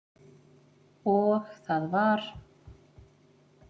Og það var